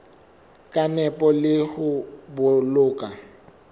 ka nepo le ho boloka